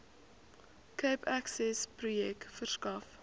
cape accessprojek verskaf